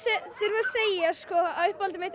þurfa að segja að uppáhaldið mitt er